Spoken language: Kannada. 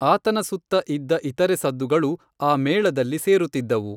ಆತನ ಸುತ್ತ ಇದ್ದ ಇತರೆ ಸದ್ದುಗಳು ಆ ಮೇಳದಲ್ಲಿ ಸೇರುತ್ತಿದ್ದವು.